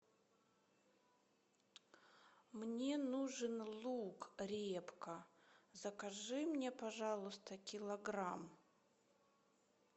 мне нужен лук репка закажи мне пожалуйста килограмм